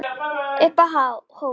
Upp á hól